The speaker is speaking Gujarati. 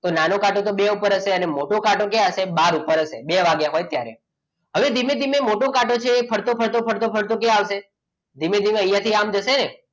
તો નાનો કાંટો બે ઉપર હશે અને મોટો કાંટો ક્યાં છે બહાર ઉપર હશે બે વાગ્યા હોય ત્યારે હવે ધીમે ધીમે મોટો કાંટો છે ફરતો ફરતો ફરતો ક્યાં આવશે ધીમે ધીમે અહીંયા થી આમ જશે ને